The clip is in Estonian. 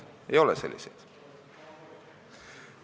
Ei ole selliseid.